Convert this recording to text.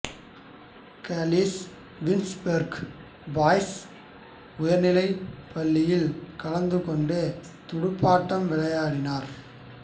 Kallis Wynberg boys உயர்நிலைப்பள்ளியில் கலந்து கொண்டு துடுப்பாட்டம் விளையாடினார்